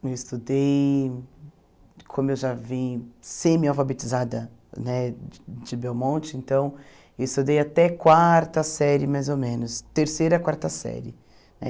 Eu estudei, como eu já vim semi-alfabetizada né de de Belmonte, então, eu estudei até quarta série, mais ou menos, terceira, quarta série.